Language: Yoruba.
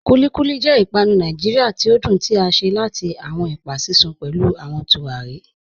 Kúlíkúlí jẹ̀ ìpànù Nàìjíríà tí o dún tí a ṣe láti awọn ẹpa sísun pẹ̀lú awọn tùràrí.